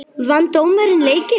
Vann dómarinn leikinn?